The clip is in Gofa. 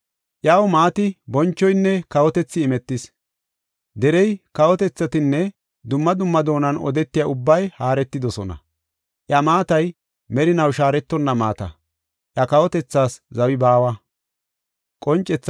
Iyaw maati, bonchoynne kawotethi imetis; derey, kawotethatinne dumma dumma doonan odetiya ubbay haaretidosona. Iya maatay merinaw shaaretonna maata; iya kawotethaas zawi baawa.